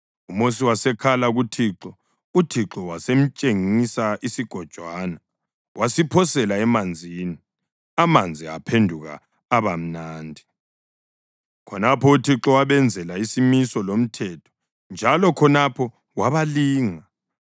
UMosi wasekhala kuThixo, uThixo wasemtshengisa isigojwana. Wasiphosela emanzini, amanzi aphenduka aba mnandi. Khonapho uThixo wabenzela isimiso lomthetho, njalo khonapho wabalinga.